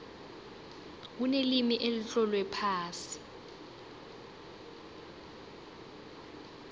kunelimi elitlolwe phasi